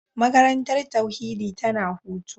Makarantar tauhidi tana hutu.